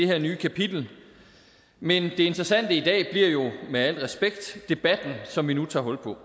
her nye kapitel men det interessante i dag bliver jo med al respekt debatten som vi nu tager hul på